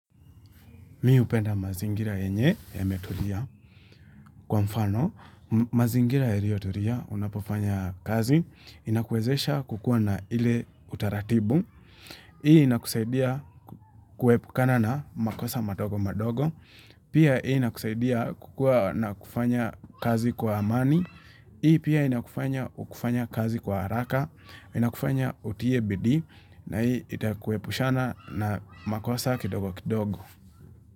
Mi hupenda mazingira yenye yametulia. Kwa mfano, mazingira yalio tulia, unapofanya kazi, inakwezesha kukua na ile utaratibu Hii inakusaidia kuepukana na, makosa madogo madogo. Pia hii inakusaidia kukua na kufanya kazi kwa amani. Hii pia inakufanya kufanya kazi kwa haraka, inakufanya uitie bidii, na hii itakuepushana na makosa kidogo kidogo.